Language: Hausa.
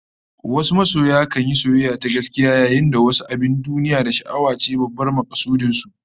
Wasu masoya kan yi soyayya ta gaskiya, yayin da wasu abin duniya da sha'awa ce babban makasudin su